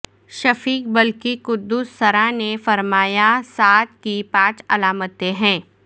شفیق بلخی قدس سرہ نے فرمایاسعادت کی پانچ علامتیں ہیں